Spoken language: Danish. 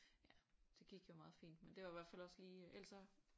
Ja det gik jo meget fint men det var jo også lige ellers så